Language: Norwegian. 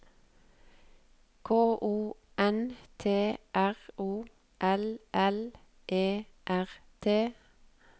K O N T R O L L E R T